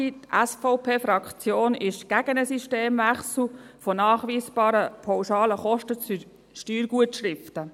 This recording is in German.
Die SVP-Fraktion ist gegen einen Systemwechsel von nachweisbaren pauschalen Kosten zu Steuergutschriften.